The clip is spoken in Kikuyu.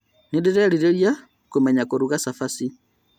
Nĩndĩrerirĩria kũmenya kũruga cabaci